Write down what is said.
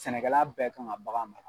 Sɛnɛkɛla bɛɛ kan ka bagan